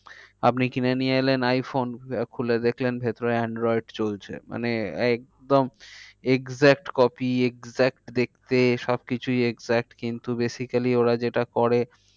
আপনি কিনে নিয়ে এলেন আইফোন আহ খুলে দেখলেন ভেতরে android চলছে। মানে একদম exact copy exact দেখতে সব কিছুই exact কিন্তু basically ওরা যেটা করে